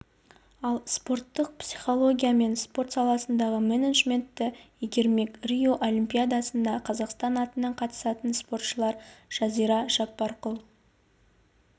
ол спорттық психология мен спорт саласындағы менеджментті игермек рио олимпиадасына қазақстан атынан қатысатын спортшылар жазира жаппарқұл